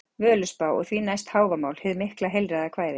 Völuspá, og því næst Hávamál, hið mikla heilræðakvæði.